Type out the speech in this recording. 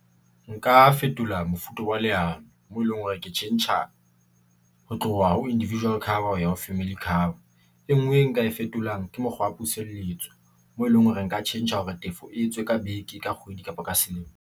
Nka fetola mofuta wa leano, moo eleng hore ke tjhentjha ho tloha ho individual cover ya ho family cover. E nngwe e nka e fetolang ke mokgwa wa puseletso moo e leng hore nka tjhentjha hore tefo e etswe ka beke ka kgwedi kapo ka selemo.